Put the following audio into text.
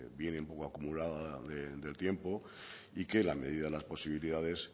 viene un poco acumulada del tiempo y que en la medida de las posibilidades